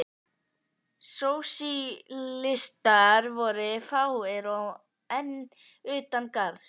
Sósíalistar voru fáir og enn utan garðs.